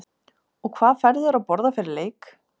og hvað færðu þér að borða fyrir leik?